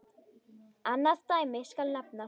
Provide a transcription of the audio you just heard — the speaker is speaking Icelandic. Annað dæmi skal nefna.